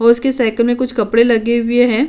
और उसकी साईकिल में कुछ कपड़े लगे हुए हैं।